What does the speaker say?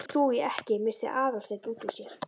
Því trúi ég ekki- missti Aðalsteinn út úr sér.